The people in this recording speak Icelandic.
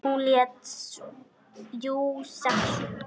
Hann lét jú SEXUNA.